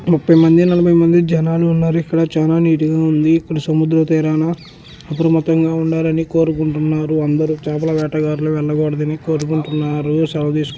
ముప్పై మంది నలభై మంది జనాలు ఉన్నారు.ఇక్కడ చాలా నీట్ గా ఉంది.ఇక్కడ సముద్ర తీరాన అప్రమత్తంగా ఉండాలని కోరుకుంటున్నారు. అందరూ. చేపల వేటగాళ్లు వెళ్లకూడదని కోరుకుంటున్నారు. సెలవ తీసు--